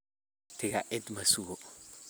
Waqtika cid masuko.